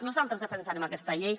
nosaltres defensarem aquesta llei